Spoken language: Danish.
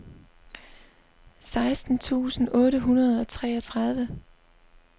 seksten tusind otte hundrede og treogtredive